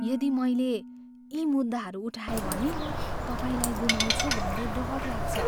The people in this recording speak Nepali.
यदि मैले यी मुद्दाहरू उठाएँ भने तपाईँलाई गुमाउँछु भन्ने डर लाग्छ।